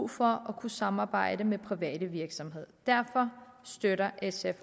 for at kunne samarbejde med private virksomheder derfor støtter sf